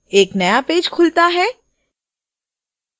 एक नया पेज खुलता है